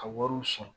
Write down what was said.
Ka wariw sɔrɔ